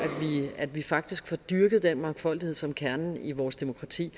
vi faktisk får dyrket den mangfoldighed som kernen i vores demokrati